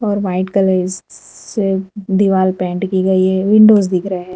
और white colour स स से दिवाल पेंट की गई है विंडोज दिख रहे हैं।